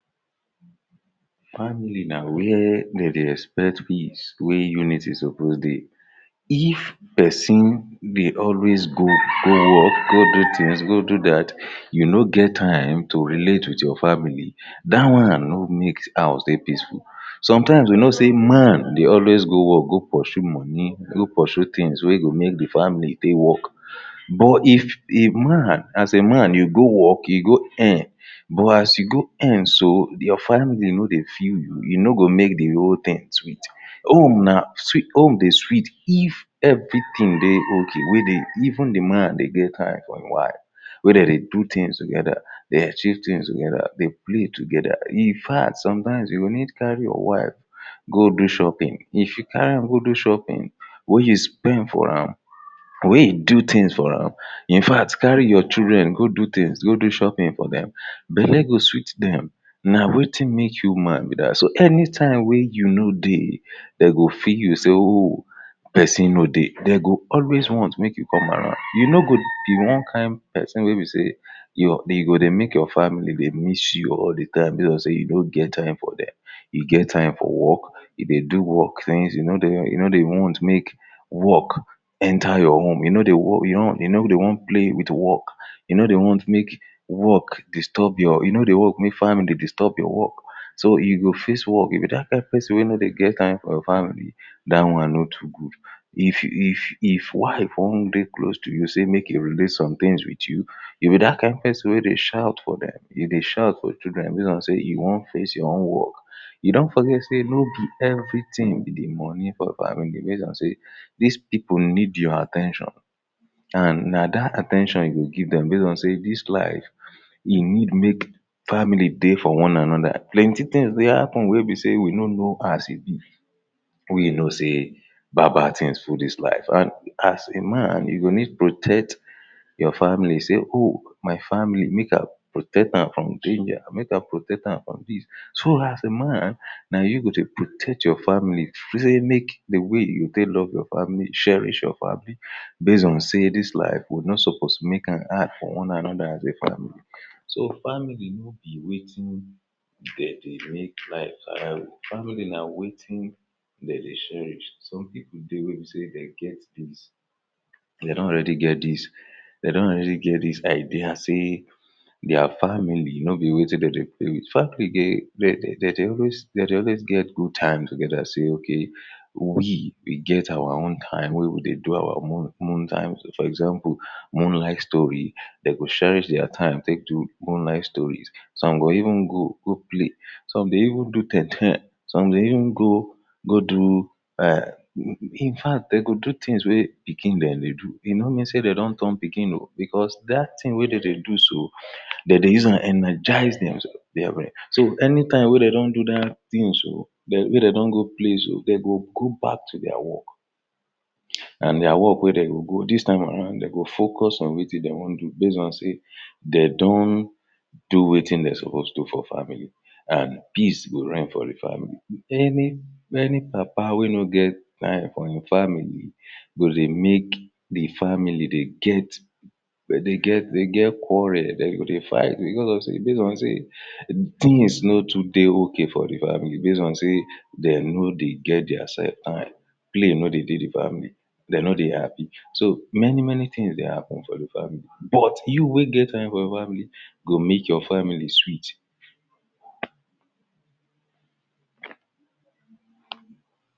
Family na wia dem dey expect peace wey unity supposed dey if, pesin dey always go work go do tins go do dat you no get time to relate wit your family dat one no go make house dey peaceful, sometimes we know say man dey always go work, go poshu money, go poshu tins wey go make di family take work. But, if a man, as man you go work you go earn but as you go earn so, your family no dey feel you e no go make di whole tin sweet home na, home dey sweet if evritin dey ok wey dey, even di man dey get time for im wife wey dey do tins togeda dey achieve tins togeda play togeda, in fact, sometimes you go need carry your wife go do shopping, if you carry am go do shopping wey you spend for am wey you do tins for am in fact, carry your children go do tins, go do shopping for dem belly go sweet dem na wetin make you man be dat. so anytime wey you no dey dem go feel you say oooh! pesin no dey dem go always want make you come around you no go be one kind pesin wey be say you go dey make your family dey miss you all di time base on say you no get time for dem you get time for work you dey do work since you no dey even wan make work enter your home you no dey wan play with work you no dey wan make work distob your, you no dey work make family distob your work so you go face work you be dat kain pesin wey no dey get time for your family dat one no too good if if if wife wan dey close to you say make im relate sometins wit you you be dat kain pesin wey dey shout for dem you dey shout for children base on say you wan face your own work you don forget say nobi evritin be di money for your family base on say dis pipo need your at ten tion and na dat at ten tion you go give dem base on say dis life you need make family dey for one anoda plenty dey happun wey be say we know as e bi we know say bad bad tins full dis life and as a man you go need protect your family say oh, my family make i protect am from danger, make i protect am from dis. so as a man na you go dey protect your family?? di way you take love your family, cherish your family base on say dis life we no suppose make am hard for one anoda as a family so, family, be wetin dey dey make life viable, family na wetin dey dey cherish some pipo dey wey be say dem get dem don already get dis dem don already get dis idea say dia family nobi wetin dem dey play wit. family dem dey always get good time togeda say ok, we we get our own time wey we dey do our moon time, for example moonlight story dem go cherish dia time take do moonlight stories some go even go, go play some dey even do ten - ten some dey even go go do em in fact dem go tins wey pikin dem dey do e no mean say dem don turn pikin oo! bicos dat tin wey dem dey do so dem dey use am energize demsef very well so anytime wey dem don dat tin so wey dem do go play so, dem go go back to dia work and dia work wey dem go, dis time aroud dem go focus on wetin dem wan do base on say dey don do wetin dem suppose do for family and peace go reign for di family. Any, any papa wey no get time for im family go dey make di family dey get dey get, dey get quarel, dem go dey fight, bicos of say based on say tins no too dey ok for di family base on say dem no dey get dia sef time play no dey dey di family dey no dey happy so, many many tins dey happun for di family But, you wey get time your family, go make your family sweet